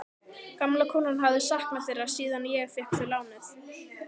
Gamla konan hafi saknað þeirra síðan ég. fékk þau lánuð.